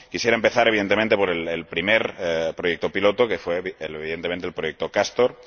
Quisiera empezar, evidentemente, por el primer proyecto piloto, que fue, evidentemente, el proyecto Castor.